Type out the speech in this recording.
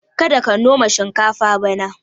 karka noma shikafa bana